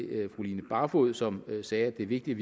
fru line barfod som sagde at det er vigtigt